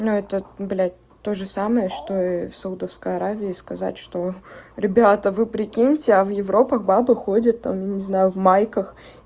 ну это блять тоже самое что и в саудовской аравии сказать что ребята вы прикиньте а в европах бабы ходят там я не знаю в майках